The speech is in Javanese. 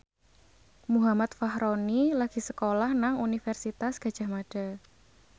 Muhammad Fachroni lagi sekolah nang Universitas Gadjah Mada